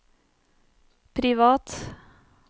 privat